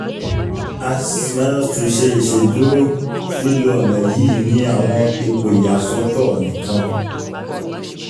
as-2 ṣe iṣeduro lilo ọna yii ni awọn ipo iyasọtọ nikan